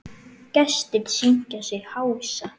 Gestir syngja sig hása.